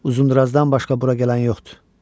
Uzundurazdan başqa bura gələn yoxdur.